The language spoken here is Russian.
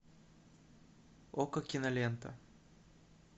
окко кинолента